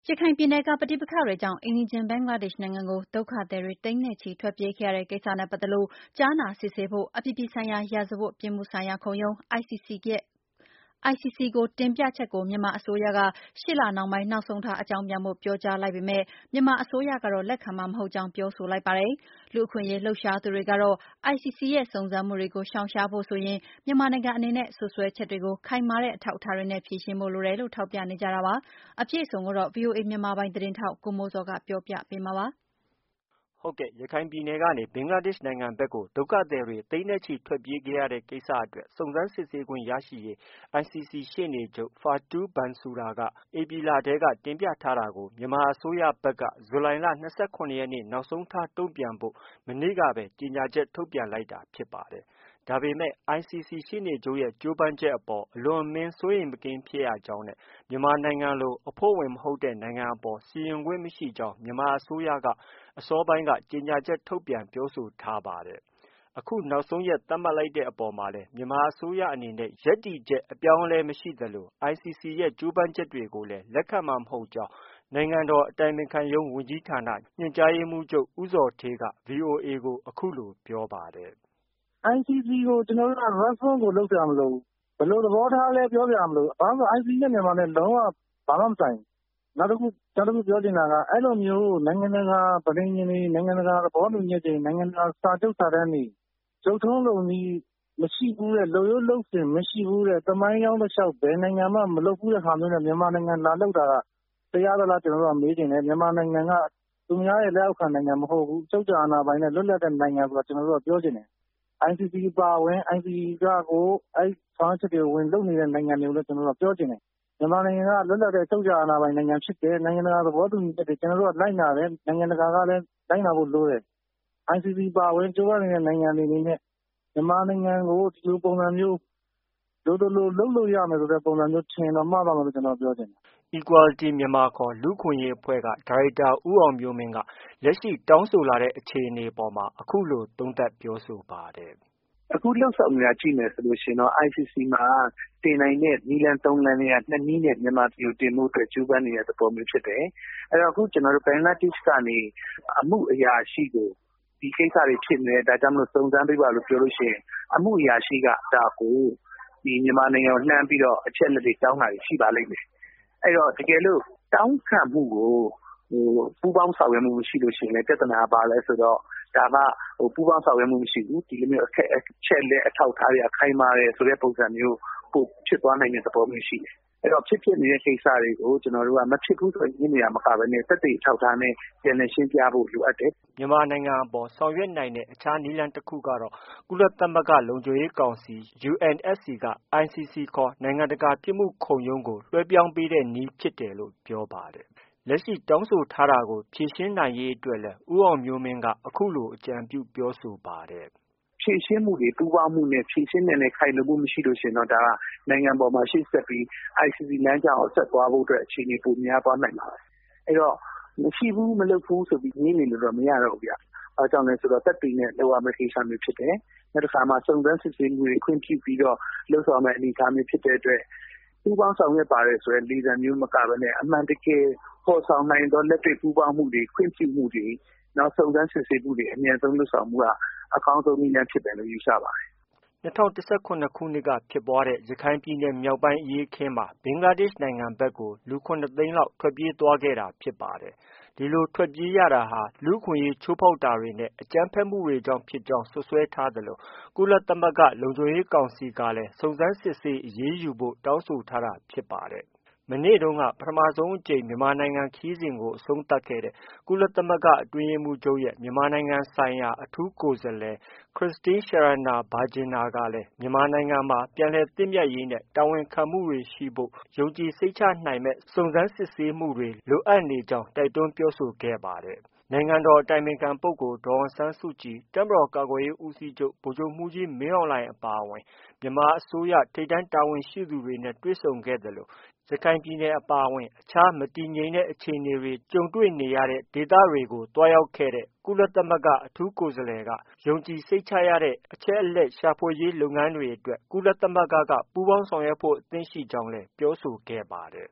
ရခိုင်ပြည်နယ်က ပဋိပက္ခတွေကြောင့် အိမ်နီးချင်း ဘင်္ဂလားဒေ့ရှ်နိုင်ငံကို ဒုက္ခသည်တွေ သိန်းနဲ့ချီ ထွက်ပြေးခဲ့ရတဲ့ ကိစ္စနဲ့ ပတ်သက်လို့ ကြားနာစစ်ဆေးဖို့ အပြည်ပြည်ဆိုင်ရာ ရာဇဝတ်ပြစ်မှုဆိုင်ရာခုံရုံး ကို တင်ပြချက်ကို မြန်မာအစိုးရက ရှေ့လနှောင်းပိုင်း နောက်ဆုံးထား အကြောင်းပြန်ဖို့ ပြောကြား လိုက်ပေမဲ့ မြန်မာအစိုးရကတော့ လက်ခံမှာမဟုတ်ကြောင်း ပြောဆိုလိုက်ပါတယ်။ လူ့အခွင့်အရေး လှုပ်ရှားသူတွေကတော့ ICC ရဲ့ စုံစမ်းမှုတွေကို ရှောင်ရှားဖို့ဆိုရင် မြန်မာနိုင်ငံအနေနဲ့ စွပ်စွဲချက်တွေကို ခိုင်မာတဲ့ အထောက်အထားတွေနဲ့ ဖြေရှင်းဖို့ လိုတယ်လို့ ထောက်ပြနေကြတာပါ။ အပြည့်အစုံ ကိုတော့ ဗွီအိုအေ မြန်မာပိုင်းသတင်းထောက် ကိုမိုးဇော်က ပြောပြပေးမှာ ဖြစ်ပါတယ်။ ရခိုင်ပြည်နယ်ကနေ ဘင်္ဂလားဒေ့ရှ်နိုင်ငံဘက်ကို ဒုက္ခသည်တွေ သိန်းနဲ့ချီ ထွက်ပြေးခဲ့ရတဲ့ ကိစ္စအတွက် စုံစမ်းစစ်ဆေးခွင့်ရရေး ICC ရှေ့နေချုပ် Fatou Bensouda က ဧပြီလထဲ တင်ပြထားတာကို မြန်မာအစိုးရဘက်က ဇူလိုင်လ ၂၇ ရက်နေ့ နောက်ဆုံးထား တုံ့ပြန်ဖို့ မနေ့တုန်းကပဲ ကြေညာချက် ထုတ်ပြန်လိုက်တာ ဖြစ်ပါတယ်။ ဒါပေမဲ့လည်း ICC ရှေ့နေချုပ်ရဲ့ ကြိုးပမ်းမှုအပေါ် အလွန်အမင်း စိုးရိမ်မကင်း ဖြစ်ရကြောင်းနဲ့ မြန်မာနိုင်ငံလို အဖွဲ့ဝင် မဟုတ်တဲ့ နိုင်ငံအပေါ် စီရင်ပိုင်ခွင့် မရှိကြောင်း မြန်မာအစိုးရက အစောပိုင်းမှာ ကြေညာချက်ထုတ်ပြန်ပြောဆိုထားပါတယ်။ အခုနောက်ဆုံးရက် သတ်မှတ် လိုက်ပေမဲ့လည်း မြန်မာအစိုးရအနေနဲ့ ရပ်တည်ချက် အပြောင်းအလဲမရှိသလို ICC ရဲ့ ကြိုးပမ်းမှုကိုလည်း လက်ခံနိုင်မှာ မဟုတ်ကြောင်းလည်း နိုင်ငံတော် အတိုင်ပင်ခံပုဂ္ဂိုလ်ရုံး ညွှန်ကြားရေးမှူးချုပ် ဦးဇော်ဌေး ဗွီအိုအေကို အခုလိုပြောပါတယ်။ “ICC ကို ကျနော်တို့က response ကို လုပ်စရာမလိုဘူး။ ”ဘယ်လို သဘောထားလဲ-ပြောစရာမလိုဘူး။ ဘာလို့တုန်းဆိုတော့ ICC နဲ့ မြန်မာနဲ့ လုံးဝ ဘာမှမဆိုင်ဘူး။ နောက်တခုပြောချင်တာက အဲလိုမျျိုး နိုင်ငံတကာ ပဋိဉာဉ်တွေ၊ နိုင်ငံတကာ သဘောတူညီချက်တွေ၊ နိုင်ငံတကာ စာချုပ်စာတမ်းတွေ၊ လုပ်ထုံးလုပ်နည်းမရှိဘူးတဲ့၊ လုပ်ရိုးလုပ်စဉ်မရှိဘူးတဲ့၊ သမိုင်းကြောင်းတလျှောက် ဘယ်နိုင်ငံမှာမှ မလုပ်ဘူးတဲ့ဟာမျိုးနဲ့ မြန်မာနိုင်ငံကိုလာလုပ်တာ တရားသလား- ကျနော်တို့က မေးချင်တယ်။ မြန်မာနိုင်ငံက သူများရဲ့လက်အောက်ခံနိုင်ငံမဟုတ်ဘူး။ အချုပ်အခြာအာဏာပိုင်တဲ့ လွတ်လပ်တဲ့နိုင်ငံဆိုတာကို ကျနော်တို့က ပြောချင်တယ်။ ICC အပါအဝင် ICC ကရော…အဲဒီ ဆောင်ရွက်ချက်တွေ ဝင်လုပ်နေတဲ့နိုင်ငံတွေကိုလည်း ကျနော်တို့က ပြောချင်တယ်။ မြန်မာနိုင်ငံက လွတ်လပ်တဲ့ အချုပ်အခြာ အာဏာပိုင် နိုင်ငံဖြစ်တယ်။ ကျနော်တို့က နိုင်ငံတကာ သဘောတူညီချက်တွေကို လိုက်နာတယ်။ နိုင်ငံတကာကလည်း လိုက်နာဖို့လိုတယ်။ ICC အပါအဝင်…….နိုင်ငံတွေ အနေနဲ့ မြန်မာနိုင်ငံကို ဒီလိုပုံစံမျိုး လိုသလို လုပ်လို့ရမယ်ဆိုတဲ့ပုံစံမျိုး ထင်ရင်တော့ မှားသွားမယ်လို့ ကျနော်က ပြောချင်တယ်။” Equality Myanmar ခေါ် လူ့အခွင့်အရေးအဖွဲ့က ဒါရိုက်တာဦးအောင်မျိုးမင်းက လက်ရှိ တောင်းဆိုလာတဲ့ အခြေအနေအပေါ် အခုလို သုံးသပ်ပြောဆိုပါ တယ်။ “အခုလုပ်ဆောင်နေတာ ကြည့်မယ်ဆိုရင် ICC မှာ တင်နိုင်တဲ့ နည်းလမ်း ၃လမ်းထဲက ၂ နည်းနဲ့ တင်ဖို့ ကြိုးပမ်းနေတဲ့ သဘောမျိုးဖြစ်တယ်။ အခု ကျနော်တို့ ဘင်္ဂလားဒေ့ရှ်ကနေ အမှုအရာရှိကို ဒီကိစ္စတွေဖြစ်နေတယ်။ ဒီကိစ္စတွေ စုံစမ်းပေးပါလို့ ပြောလို့ရှိရင် အမှုအရာရှိက အဲဒါကို မြန်မာနိုင်ငံကို လှမ်းပြီးတော့ အချက်အလက်တွေ တောင်းတာရှိပါတယ်။ တကယ်လို့ တောင်းခံမှုကို ပူးပေါင်းဆောင်ရွက်မှုမရှိလို့ ရှိရင်လည်း ပြဿနာက ဘာလဲဆိုတော့ ဒါက ပူးပေါင်းဆောင်ရွက်မှု မရှိဘူး။ အချက်အလက်အထောက်အထားတွေက ခိုင်မာတယ်ဆိုပြီး ပိုဖြစ်သွားနိုင်တဲ့သဘောရှိတယ်။ အဲတော့ ဖြစ်ပျက်နေတဲ့ ကိစ္စတွေကို မဖြစ်ဘူးဆို ငြင်းနေတာမျိုးမဟုတ်ဘဲ သက်သေအထောက်အထားနဲ့ ပြန်လည်ရှင်းပြဖို့ လိုအပ်တယ်။” မြန်မာနိုင်ငံအပေါ် ဆောင်ရွက်နိုင်တဲ့ အခြားနည်းလမ်းတခုကတော့ ကုလသမဂ္ဂလုံခြုံရေးကောင်စီ UNSC က ICC ခေါ် နိုင်ငံတကာ ပြစ်မှုခုံရုံးကို လွဲှပြောင်းပေးတဲ့နည်းဖြစ်တယ်လို့ ပြောပါတယ်။ လက်ရှိ တောင်းဆိုထားတာကို ဖြေရှင်းနိုင်ရေးအတွက်လည်း ဦးအောင်မျိုးမင်းက အခုလို အကြံပြု ပြောဆိုပါတယ်။ “ဖြေရှင်းမှုတွေ ပူးပေါင်းနဲ့ဖြေရှင်းနိုင်တဲ့ ခိုင်လုံမှုမရှိရင်တော့ ဒါက နိုင်ငံပေါ်မှာ ရှေ့ဆက်ပြီး ICC လမ်းကြောင်းပေါ် ဆက်သွားဖို့အတွက် အခြေအနေ ပိုများ သွားနိုင်ပါတယ်။ အဲတော့ မရှိဘူး၊ မဖြစ်ဘူးဆိုပြီး ငြင်းနေလို့တော့ မရတော့ဘူးဗျ။ ဘာကြောင့်လဲဆိုတော့ သက်သေနဲ့ လုပ်ရမယ့် ကိစ္စမျိုးဖြစ်တယ်။ နောက် တခါမှာ စုံစမ်းစစ်ဆေးမှုတွေ ခွင့်ပြုပြီးတော့ လုပ်ဆောင်ရမယ့် အနေအထားမျိုးဖြစ်တဲ့အတွက် ပူးပေါင်းဆောင်ရွက် ပါတယ်ဆိုတဲ့ လေသံမျိုး မကဘဲနဲ့ အမှန်တကယ် ဖော်ဆောင်နိုင်သော လက်တွေ့ ပူးပေါင်းမှုတွေ ခွင့်ပြုမှုတွေ စုံစမ်းစစ်ဆေးမှုတွေ အမြန်ဆုံးလုပ်ဆောင်မှုက အကောင်းဆုံး နည်းလမ်း ဖြစ်မယ်လို့ ယူဆပါတယ်။” ၂၀၁၇ ခုနှစ်က ဖြစ်ပွားခဲ့တဲ့ ရခိုင်ပြည်နယ်မြောက်ပိုင်းအရေးအခင်းမှာ ဘင်္ဂလားဒေ့ရှ်နိုင်ငံ ဘက်က လူ ၇ သိန်းလောက် ထွက်ပြေးသွားခဲ့တာဖြစ်ပါတယ်။ ဒီလို ထွက်ပြေးရတာဟာ လူ့အခွင့်အရေးချိုးဖောက်တာတွေနဲ့ အကြမ်းဖက်မှုတွေကြောင့် ဖြစ်ကြောင်း စွပ်စွဲ ထား သလို ကုသမဂ္ဂလုံခြုံရေးကောင်စီကလည်း စုံစမ်းစစ်ဆေး အရေးယူဖို့ တောင်းဆို ထားတာဖြစ်ပါတယ်။ မနေ့တုန်းက ပထမဆုံးအကြိမ် မြန်မာနိုင်ငံခရီးစဉ်ကို အဆုံးသတ်ခဲ့တဲ့ ကုလသမဂ္ဂ အတွင်းရေးမှူးချုပ်ရဲ့ မြန်မာနိုင်ငံဆိုင်ရာ အထူးကိုယ်စားလှယ် Christine Schraner Burgener ခရစ္စတင်း ရှာရနာ ဘာဂျင်နာ ကလည်း မြန်မာနိုင်ငံမှာ ပြန်လည်သင့်မြတ်ရေး နဲ့ တာဝန်ခံမှုတွေရှိဖို့ ယုံကြည်စိတ်ချ နိုင်မယ့် စုံစမ်းစစ်ဆေးမှုတွေ လိုအပ်နေကြောင်း တိုက်တွန်းပြောဆိုခဲ့တာပါ။ နိုင်ငံတော် အတိုင်ပင်ခံပုဂ္ဂိုလ် ဒေါ်အောင်ဆန်းစုကြည်၊ တပ်မတော် ကာကွယ်ရေးဦးစီးချုပ် ဗိုလ်ချုပ်မှူးကြီး မင်းအောင်လှိုင် အပါအဝင် မြန်မာ အစိုးရ ထိပ်တန်းတာဝန်ရှိသူတွေနဲ့ တွေ့ဆုံခဲ့သလို ရခိုင်ပြည်နယ် အပါအဝင် မတည်မငြိမ် အခြေအနေတွေကြုံခဲ့ရတဲ့ ဒေသတွေကို သွားရောက်ခဲ့တဲ့ ကုလသမဂ္ဂ အထူးကိုယ်စား လှယ်က ယုံကြည်စိတ်ချရတဲ့ အချက်အလက် ရှာဖွေရေး လုပ်ငန်းတွေအတွက် ကုလ သမဂ္ဂက ပူးပေါင်းဆောင်ရွက်ဖို့ အသင့်ရှိနေကြောင်းလည်း ပြောဆိုခဲ့ပါတယ်။